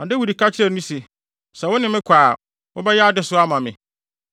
Na Dawid ka kyerɛɛ no se, “Sɛ wo ne me kɔ a, wobɛyɛ adesoa ama me.